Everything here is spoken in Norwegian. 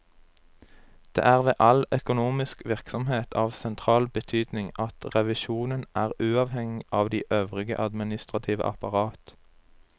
Det er ved all økonomisk virksomhet av sentral betydning at revisjonen er uavhengig av det øvrige administrative apparat.